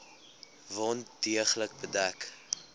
wond deeglik bedek